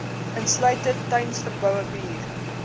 insluitend tuisverboude bier